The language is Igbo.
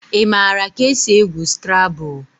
Ị maara ka esi egwu Skrabụl?